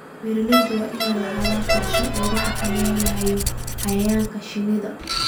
Beeralayda waa inay lahaadaan qorshe lagu xakameynayo cayayaanka shinnida.